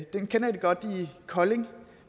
den kender de godt i kolding